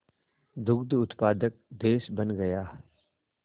दुग्ध उत्पादक देश बन गया